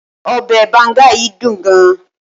obe banga yìí dun gan